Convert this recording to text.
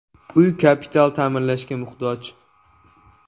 Uy kapital ta’mirlashga muhtoj.